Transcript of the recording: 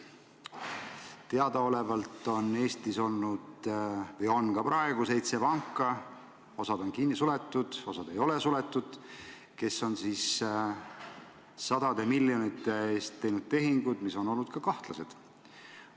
Teadaolevalt on Eestis olnud või on ka praegu seitse panka – osa on suletud, osa ei ole suletud –, kes on sadade miljonite eest teinud tehinguid, mis on olnud kahtlased.